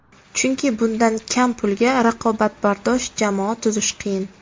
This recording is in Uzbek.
Chunki bundan kam pulga raqobatbardosh jamoa tuzish qiyin.